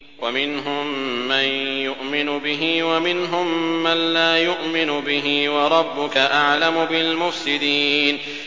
وَمِنْهُم مَّن يُؤْمِنُ بِهِ وَمِنْهُم مَّن لَّا يُؤْمِنُ بِهِ ۚ وَرَبُّكَ أَعْلَمُ بِالْمُفْسِدِينَ